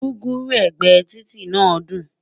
gúgúrú ẹgbẹ Títí nà dùn